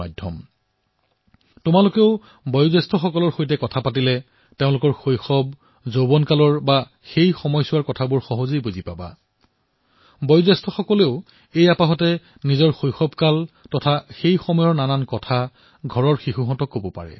আৰু পৰিয়ালৰ বাবেও এয়া এক সুন্দৰ ভিডিঅ এলবাম হৈ পৰিব